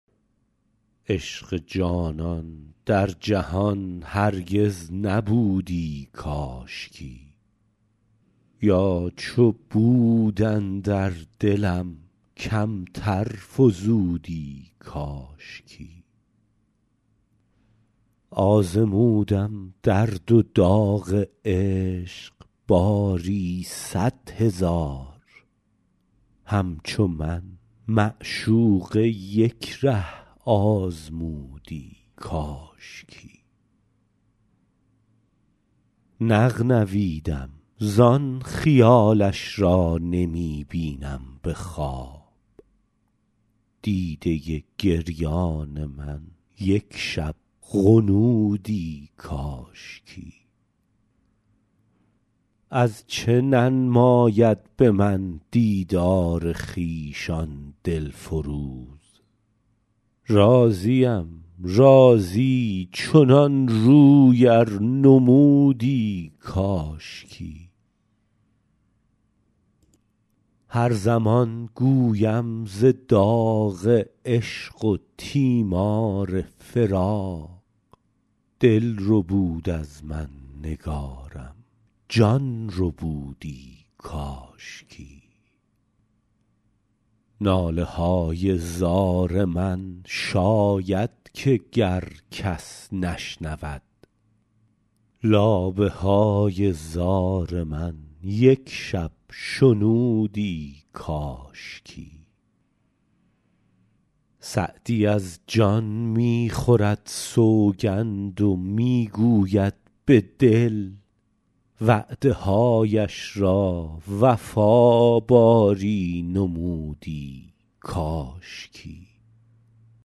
عشق جانان در جهان هرگز نبودی کاشکی یا چو بود اندر دلم کمتر فزودی کاشکی آزمودم درد و داغ عشق باری صد هزار همچو من معشوقه یک ره آزمودی کاشکی نغنویدم زان خیالش را نمی بینم به خواب دیده گریان من یک شب غنودی کاشکی از چه ننماید به من دیدار خویش آن دل فروز راضیم راضی چنان روی ار نمودی کاشکی هر زمان گویم ز داغ عشق و تیمار فراق دل ربود از من نگارم جان ربودی کاشکی ناله های زار من شاید که گر کس نشنود لابه های زار من یک شب شنودی کاشکی سعدی از جان می خورد سوگند و می گوید به دل وعده هایش را وفا باری نمودی کاشکی